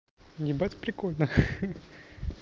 ебать прикольно ха-ха